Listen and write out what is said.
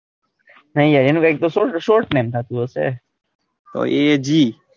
નહીં યાર એનું કોઈ short name થતું હસે તો એજી,